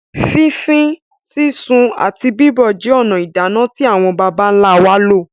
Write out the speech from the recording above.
Fífí, sísun àti bíbọ̀ jẹ́ ònà ìdáná tí àwọn bàbá ńlá wá lò,.